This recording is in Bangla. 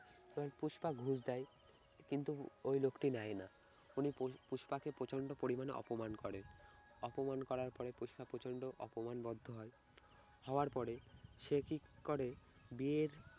তাই পুষ্পা ঘুষ দেয় কিন্তু ওই লোকটি নেয় না। উনি পুস্~ পুষ্পাকে প্রচন্ড পরিমাণে অপমান করে, অপমান করার পরে পুষ্পা প্রচন্ড অপমান বোধ হয় হওয়ার পরে সে ঠিক করে বিয়ের